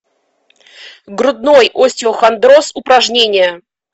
грудной остеохондроз упражнения